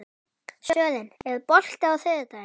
Sören, er bolti á þriðjudaginn?